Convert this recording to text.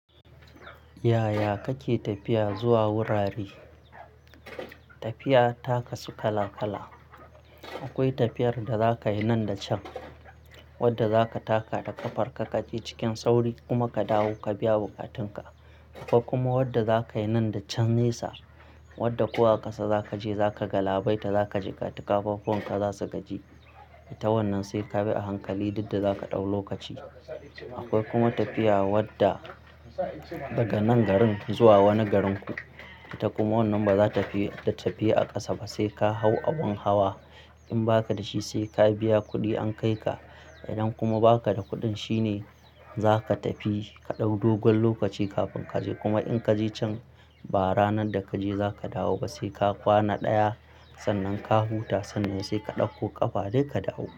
Yaya kake tafiya zuwa wurare? Tafiya ta kasu kala-kala. Akwai tafiyar da zaka yi nan da can, wadda za ka taka da ƙafar ka, ka je cikin sauri kuma ka dawo ka biya buƙatun ka. Akwai kuma wadda za ka yi nan da can nesa, wadda ko a ƙasa za ka je za ka galabaita, za ka jikata kafafuwan ka za su gaji. Ta wannan sai ka bi a hankali duk da zaka ɗau lokaci. Akwai kuma tafiya wadda daga nan garin zuwa wani garinku. Ita kuma wannan ba za ta fi tafiyu a ƙasa ba sai ka hau abun hawa. In ba ka da shi sai ka biya kuɗi an kai ka. Idan kuma ba ka da kuɗin shine za ka tafi ka ɗau dogon lokaci kafin ka je. Kuma in ka je can ba ranar da ka je za ka dawo ba sai ka kwana ɗaya sannan ka huta sannan sai ka ɗauko ƙafa dai ka dawo.